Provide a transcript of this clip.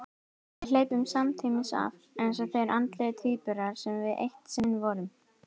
Við hleypum samtímis af, eins og þeir andlegu tvíburar sem við eitt sinn vorum.